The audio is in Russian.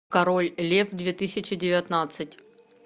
король лев две тысячи девятнадцать